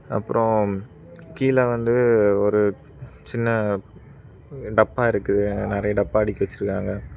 அப்புறம் கீழ வந்து ஒரு சின்ன டப்பா இருக்கு நெறைய டப்பா அடிக்கி வச்சிருக்காங்க.